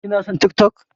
Kina son TikTok.